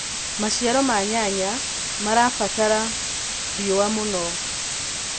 Maciaro ma nyanya marabatara riũa mũno.